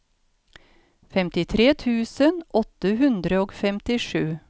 femtitre tusen åtte hundre og femtisju